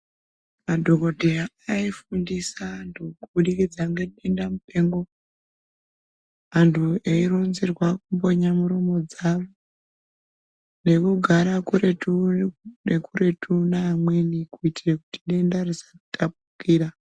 Madhogodheya aifundisa antu kubudikidza nedenda mupengo. Antu eironzerwa kumbonya muromo dzavo nekugara kuretu nekuretu neamweni. Kutiire kuti denda risatapukira.